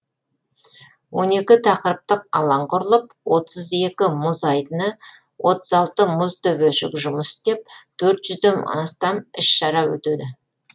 он екі тақырыптық алаң құрылып отыз екі мұз айдыны отыз алты мұз төбешік жұмыс істеп төрт жүзден астам іс шара өтеді